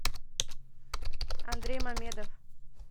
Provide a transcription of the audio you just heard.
андрей мамедов